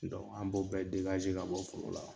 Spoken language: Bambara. an bɔ bɛɛ ka bɔ foro la.